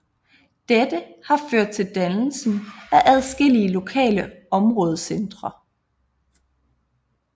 Dette har ført til dannelsen af adskillige lokale områdecentre